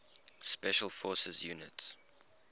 special forces units